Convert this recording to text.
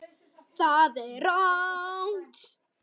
ÞAÐ VAR RANGT.